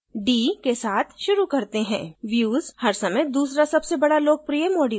d के साथ शुरू करते हैं views हर समय दूसरा सबसे बडा लोकप्रिय module रहा है